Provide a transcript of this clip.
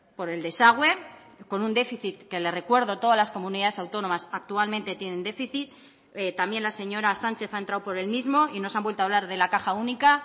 por el desagüe con un déficit que le recuerdo todas las comunidades autónomas actualmente tienen déficit también la señora sánchez ha entrado por el mismo y nos han vuelto a hablar de la caja única